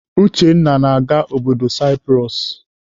Uchenna na-aga obodo Saipros.